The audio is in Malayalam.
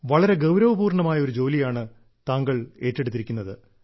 വളരെ ഗൌരവപൂർണ്ണമായ ഒരു ജോലിയാണ് താങ്കൾ ഏറ്റെടുത്തിരിക്കുന്നത്